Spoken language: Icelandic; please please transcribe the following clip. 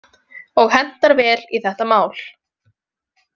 Og hentar vel í þetta mál.